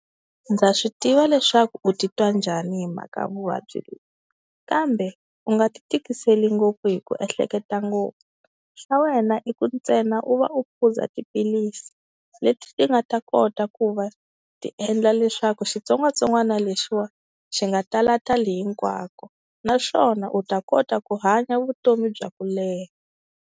Ndza swi tiva leswaku u titwa njhani hi mhaka vuvabyi lebyi, kambe u nga ti tikiseli ngopfu hi ku ehleketa ngopfu. Swa wena i ku ntsena u va u phuza tiphilisi leti ti nga ta kota ku va ti endla leswaku xitsongwatsongwana lexiya xi nga tala tali hinkwako, naswona u ta kota ku hanya vutomi bya ku leha.